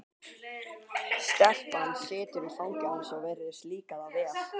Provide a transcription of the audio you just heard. Sverrir Hákonarson: Já, þetta er alíslenskt er það ekki?